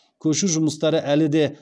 көшу жұмыстары әлі де